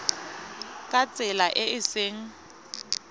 ka tsela e e seng